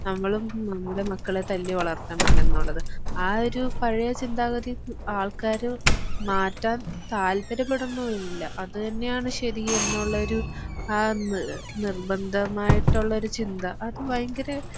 നമ്മളും നമ്മളുടെ മക്കളെ തല്ലി വളർത്തണം എന്നുള്ളത് ആ ഒരു പഴയ ചിന്താഗതി ആൾക്കാര് മാറ്റാൻ താല്പര്യപ്പെടുന്നുമില്ല അത് തന്നെയാണ് ശരി എന്നുള്ള ഒരു ആ നി നിർബന്ധമായിട്ടുള്ള ഒരു ചിന്ത അത് ഭയങ്കര